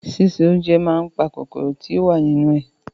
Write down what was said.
Ṣíṣe oúnjẹ máa n pa kòkòrò tí o wa nínú ẹ.